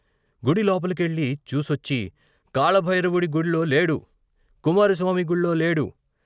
గుడి లోపలికెళ్ళి చూసొచ్చి "కాలభైర వుడి గుళ్ళోలేడు, కుమారస్వామి గుళ్ళో లేడు.